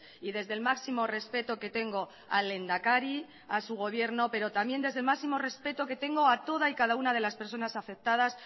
y desde el máximo respeto que tengo al lehendakari a su gobierno pero también desde el máximo respeto que tengo a toda y cada una de las personas afectadas